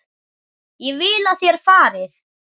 Ég vil að þér farið.